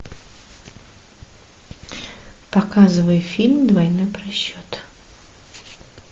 показывай фильм двойной просчет